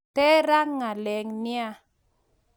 ter raa ngaleg niaa